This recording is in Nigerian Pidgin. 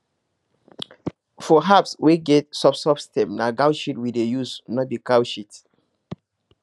for herbs wey get soft soft stem na goat shit we dey use no be cow shit